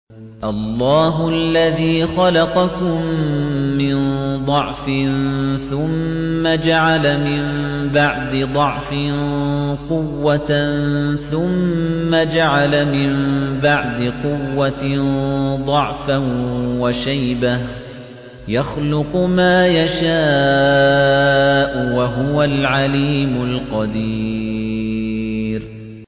۞ اللَّهُ الَّذِي خَلَقَكُم مِّن ضَعْفٍ ثُمَّ جَعَلَ مِن بَعْدِ ضَعْفٍ قُوَّةً ثُمَّ جَعَلَ مِن بَعْدِ قُوَّةٍ ضَعْفًا وَشَيْبَةً ۚ يَخْلُقُ مَا يَشَاءُ ۖ وَهُوَ الْعَلِيمُ الْقَدِيرُ